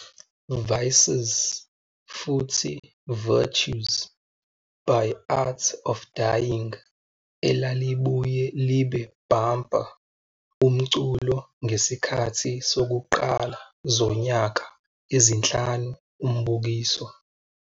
Vices futhi Virtues " by Art of Dying elalibuye libe bumper umculo ngesikhathi sokuqala zonyaka ezinhlanu umbukiso.